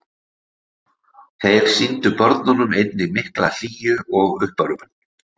Þeir sýndu börnunum einnig mikla hlýju og uppörvun.